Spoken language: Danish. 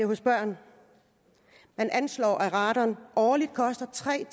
hos børn man anslår at radon årligt koster tre